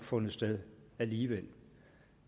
fundet sted alligevel